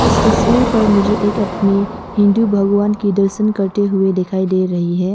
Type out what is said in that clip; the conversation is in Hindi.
इस तस्वीर पर मुझे एक आदमी हिंदू भगवान के दर्शन करते हुए दिखाई दे रही है।